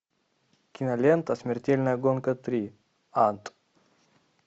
кинолента смертельная гонка три ад